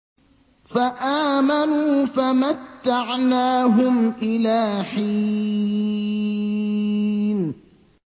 فَآمَنُوا فَمَتَّعْنَاهُمْ إِلَىٰ حِينٍ